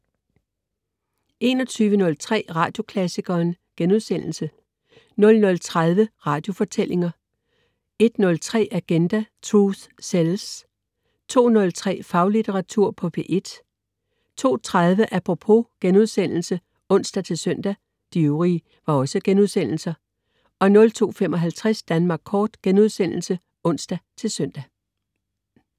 21.03 Radioklassikeren* 00.30 Radiofortællinger* 01.03 Agenda: Truth sells!* 02.03 Faglitteratur på P1* 02.30 Apropos* (ons-søn) 02.55 Danmark Kort* (ons-søn)